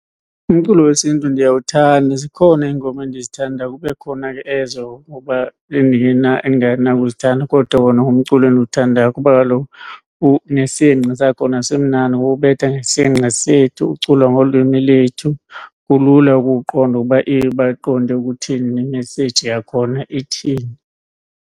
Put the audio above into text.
Umculo wesiNtu ndiyawuthanda. Zikhona iingoma endizithandayo kube khona ke ezo ngoma endingenakuzithanda kodwa wona ngumculo endiwuthandayo kuba kaloku unesingqi sakhona simnandi ngoba ubetha ngesingqi sethu, uculwa ngolwimi lwethu, kulula ukuwuqonda ukuba baqonde ukuthini nemeseyiji yakhona ithini.